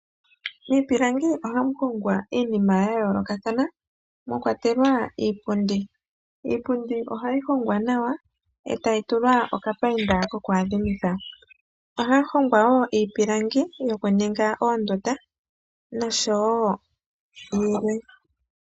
Miipilangi ohamu hongwa iinima ya yoolokathana mwa kwatelwa iipundi. Iipundi ohayi hongwa nawa etayi tulwa okapayinda koku adhi mitha. Ohaya hongo wo iipilangi yoku ninga oondunda noshowo yilwe.